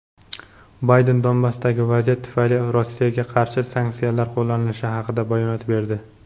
Bayden Donbassdagi vaziyat tufayli Rossiyaga qarshi sanksiyalar qo‘llanilishi haqida bayonot berdi.